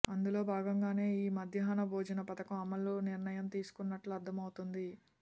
అందులో భాగంగానే ఈ మధ్యాహ్న భోజన పథకం అమలు నిర్ణయం తీసుకున్నట్లు అర్థమవుతోంది